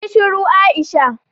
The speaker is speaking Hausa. Yi shiru Aisha